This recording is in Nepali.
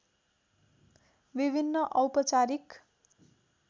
विभिन्न औपचारिक